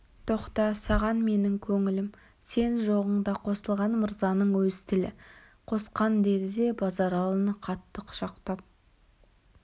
тоқта саған менің көңілім сен жоғыңда қосылған мырзаның өз тілі қосқан деді де базаралыны қатты құшақтап